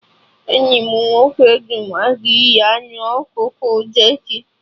Enyi m nwoke du m aga iri anụ ọkụkọ jerki